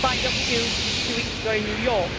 signed up to two weeks ago in New York.